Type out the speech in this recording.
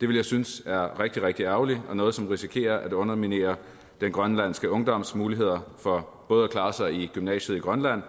det vil jeg synes er rigtig rigtig ærgerligt og noget som risikerer at underminere den grønlandske ungdoms muligheder for både at klare sig i gymnasiet i grønland